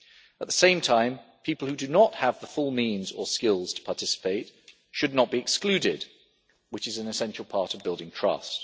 At the same time, people who do not have the full means or skills to participate should not be excluded, which is an essential part of building trust.